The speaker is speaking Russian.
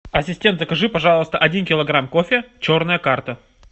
ассистент закажи пожалуйста один килограмм кофе черная карта